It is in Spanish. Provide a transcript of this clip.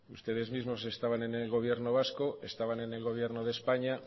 ustedes mismos estaban en el gobierno vasco estaban en el gobierno de españa